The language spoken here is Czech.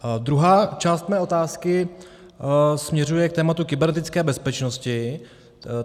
Druhá část mé otázky směřuje k tématu kybernetické bezpečnosti.